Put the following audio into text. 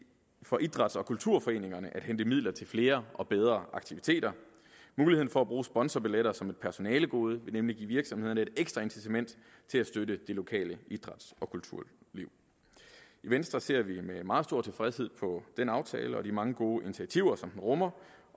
for idræts og kulturforeningerne at hente midler til flere og bedre aktiviteter muligheden for at bruge sponsorbilletter som et personalegode vil nemlig give virksomhederne et ekstra incitament til at støtte det lokale idræts og kulturliv i venstre ser vi med meget stor tilfredshed på den aftale og de mange gode initiativer som den rummer